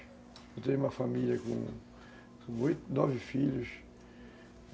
Eu tenho uma família com oito, nove filhos.